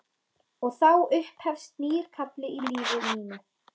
Og þá upphefst nýr kafli í lífi mínu.